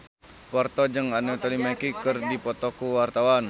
Parto jeung Anthony Mackie keur dipoto ku wartawan